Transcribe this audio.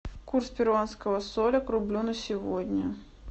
курс перуанского соля к рублю на сегодня